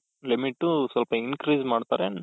limit ಸ್ವಲ್ಪ increase ಮಾಡ್ತಾರೆ,